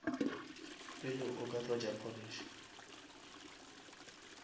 pele o ka tlotša polish